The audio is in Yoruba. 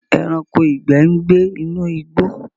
Ẹranko ìgbẹ n gybe inú igbó